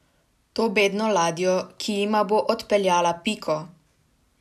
To bedno ladjo, ki jima bo odpeljala Piko!